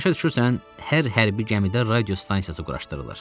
Başa düşürsən, hər hərbi gəmidə radio stansiyası quraşdırılır.